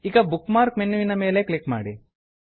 ಈಗ bookmark ಮೆನ್ಯುವಿನ ಮೇಲೆ ಕ್ಲಿಕ್ ಮಾಡಿ